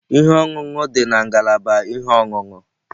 Ihe ọṅụṅụ dị na ngalaba ihe ọṅụṅụ.